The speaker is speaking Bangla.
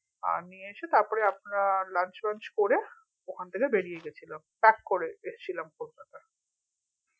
আমি এসে তারপরেই আপনার lunch ফাঞ্ছ করে ওখান থেকে বেরিয়ে গেছিলাম করে এসছিলাম কলকাতা